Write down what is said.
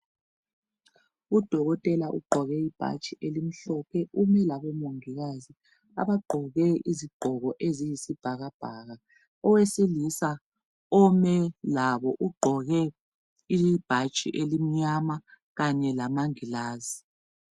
Udokotela ugqoke ibhatshi elimhlophe umi labomongikazi abagqoke izigqoko eziyisibhakabhaka. Owesilisa ome labo ugqoke ibhatshi elimnyama kanye lamangilazi.